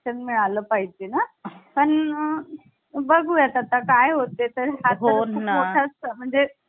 आहे तेच योग्य शिक्षण मिळालं पाहिजे ना पण बघू आता काय होते तर हो म्हणजे